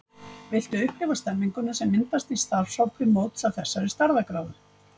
Viltu upplifa stemmninguna sem myndast í starfshópi móts af þessari stærðargráðu?